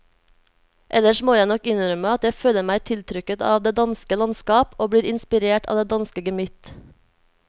Ellers må jeg nok innrømme at jeg føler meg tiltrukket av det danske landskap og blir inspirert av det danske gemytt.